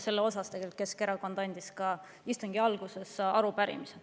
Selle kohta andis Keskerakond istungi alguses üle ka arupärimise.